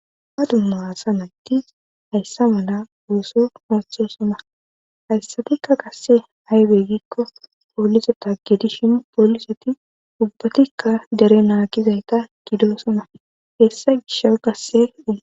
Ha dumma asa naggidi hayssa mala ooso oottosona hayssatikka qasse aaybey giikko pooliseta gidishin pooliseti ubbatikka dere naakizayta gidosona hessa gishsha gasseue